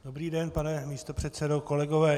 Dobrý den, pane místopředsedo, kolegové.